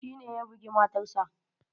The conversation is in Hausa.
Shi ne ya bugi matarsa.